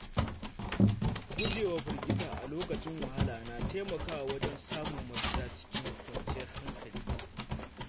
Gujewa firgita a lokacin wahala na taimakawa wajen samun mafita cikin kwanciyar hankali.